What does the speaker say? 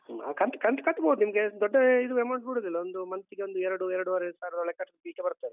ಹ ಕಂತ್ ಕಂತು ಕಟ್ಬೋದು ನಿಮ್ಗೆ ದೊಡ್ಡ ಇದು amount ಬೀಳುದುಲ್ಲ ಒಂದು month ತಿಗೊಂದು ಎರಡು ಎರಡೂವರೆ ಸಾವಿರದೊಳಗ್ ಕಟ್ಲಿಕ್ಕೆ ಬರ್ತದೆ.